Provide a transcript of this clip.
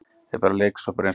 Er bara leiksoppur eins og